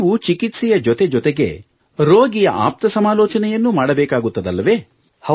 ನೀವು ಚಿಕಿತ್ಸೆಯ ಜೊತೆ ಜೊತೆಗೆ ರೋಗಿಯ ಆಪ್ತ ಸಮಾಲೋಚನೆಯನ್ನೂ ಮಾಡಬೇಕಾಗುತ್ತದಲ್ಲವೇ